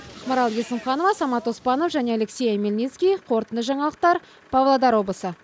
ақмарал есімханова самат оспанов және алексей омельницкий қорытынды жаңалықтар павлодар облысы